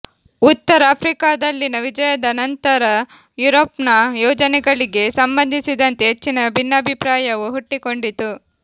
ಉತ್ತರ ಆಫ್ರಿಕಾದಲ್ಲಿನ ವಿಜಯದ ನಂತರ ಯೂರೋಪ್ನ ಯೋಜನೆಗಳಿಗೆ ಸಂಬಂಧಿಸಿದಂತೆ ಹೆಚ್ಚಿನ ಭಿನ್ನಾಭಿಪ್ರಾಯವು ಹುಟ್ಟಿಕೊಂಡಿತು